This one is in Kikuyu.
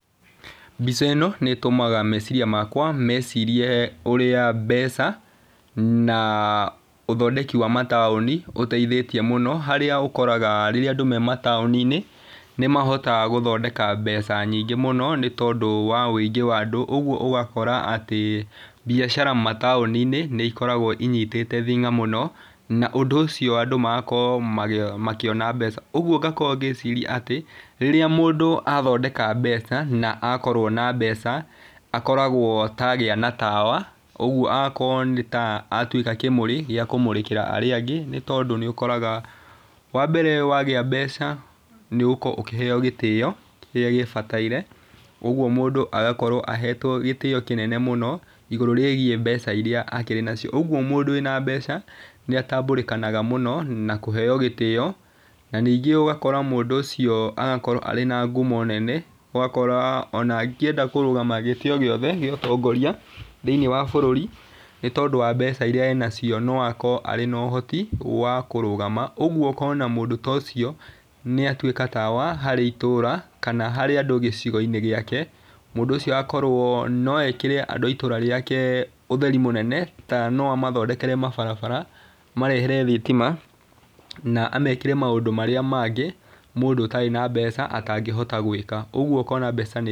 Mbica ĩno nĩ ĩtũmaga meciria makwa mecirie ũrĩa mbeca na ũthondeki wa mataũni ũteithitie mũno. Harĩa ũkoraga rĩrĩa andũ me mataũni-inĩ nĩ mahotaga gũthondeka mbeca nyingĩ mũno, nĩ tondũ wa wũingĩ wa andũ, ũguo ũgakora atĩ mbiacara matũni-inĩ nĩ ikoragwo inyitĩte thing'a mũno na ũndũ ũcio andũ magakorwo makĩona mbeca. Ũguo ngakorwo ngĩciria atĩ rĩrĩa mũndũ athondeka mbeca, na akorwo na mbeca akoragwo ta agĩa na tawa, ũguo agakorwo nĩ ta atuĩka kĩmũrĩ gĩa kũmũrĩkĩra arĩa angĩ. Nĩ tondũ nĩ ũkoraga wa mbere wagĩa mbeca nĩ ũgũkorwo ukĩheyo gĩtĩo kĩrĩa gĩbataire ũguo mũndũ agakorwo ahetwo gĩtĩo kĩnene mũno igũrũ rĩgiĩ mbeca iria akĩrĩ nacio. Ũguo mũndũ wĩna mbeca nĩ atambũrĩkanaga mũno na kũheyo gĩtĩo na ningĩ ũgakora mũndũ ũcio agakorwo arĩ na ngumo nene, ũgakora ona angĩenda kũrũgama gĩtĩ o gĩothe gĩa ũtongoria thĩiniĩ wa bũrũri, nĩ tondũ wa mbeca iria enacio no akorwo arĩ na ũhoti wa kũrũgama. Ũguo ũkona mundũ ta ũcio nĩ atuĩka tawa harĩ itũra kana harĩ andũ gĩcigo-inĩ gĩake, mũndũ ũcio agakorwo no ekĩre andũ a itũra rĩake ũtheri mũnene, ta no amathondekere mabarabara, amarehere thitima na amekĩre maũndũ marĩa mangĩ mũndũ ũtarĩ na mbeca atangĩhota gwĩka, ũguo ũkona mbeca nĩ...